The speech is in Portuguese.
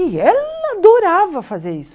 E ela adorava fazer isso.